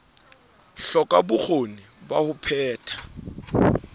hloka bokgoni ba ho phetha